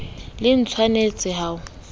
le tsh wanetse ho o